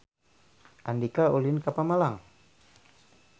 Andika ulin ka Pemalang